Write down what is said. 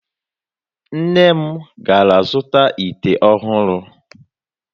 Nne m gara zụta ite ọhụrụ.